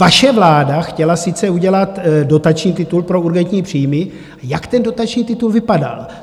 Vaše vláda chtěla sice udělat dotační titul pro urgentní příjmy, jak ten dotační titul vypadal?